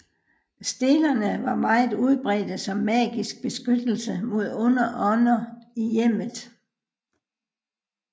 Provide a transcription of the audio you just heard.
Stelerne var meget udbredte som magisk beskyttelse mod onde ånder i hjemmet